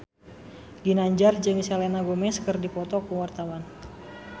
Ginanjar jeung Selena Gomez keur dipoto ku wartawan